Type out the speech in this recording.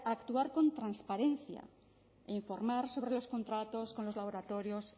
a actuar con transparencia e informar sobre los contratos con los laboratorios